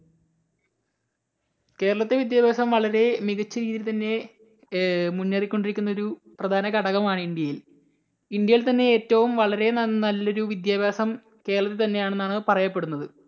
കേരളത്തിലെ വിദ്യാഭ്യാസം വളരെ മികച്ച രീതിയിൽ തന്നെ ഏർ മുന്നേറിക്കൊണ്ടിരിക്കുന്ന ഒരു പ്രധാനഘടകമാണ് ഇന്ത്യയിൽ. ഇന്ത്യയിൽ തന്നെ ഏറ്റവും വളരെ നല്ല ഒരു വിദ്യാഭ്യാസം കേരളത്തിൽ തന്നെ ആണെന്നാണ് പറയപ്പെടുന്നത്.